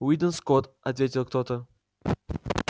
уидон скотт ответил кто то